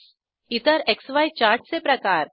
इतर क्सी चार्टचे प्रकार 3